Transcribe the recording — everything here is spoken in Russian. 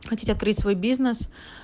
хотите открыть свой бизнес